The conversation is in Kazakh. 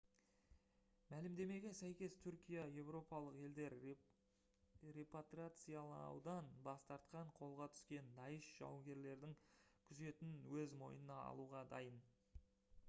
мәлімдемеге сәйкес түркия еуропалық елдер репатриациялаудан бас тартқан қолға түскен даиш жауынгерлерінің күзетін өз мойнына алуға дайын